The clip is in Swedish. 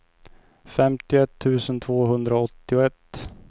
femtioett tusen tvåhundraåttioett